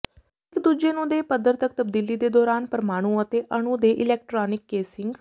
ਇੱਕ ਦੂਜੇ ਨੂੰ ਦੇ ਪੱਧਰ ਤੱਕ ਤਬਦੀਲੀ ਦੇ ਦੌਰਾਨ ਪਰਮਾਣੂ ਅਤੇ ਅਣੂ ਦੇ ਇਲੈਕਟ੍ਰਾਨਿਕ ਕੇਸਿੰਗ